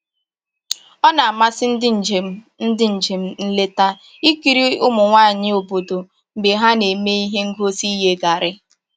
O na-amasị ndị njem ndị njem nleta ikiri ụmụ nwanyị obodo mgbe ha na-eme ihe ngosi iye garri